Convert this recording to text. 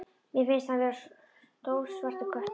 Mér finnst hann vera stór svartur köttur.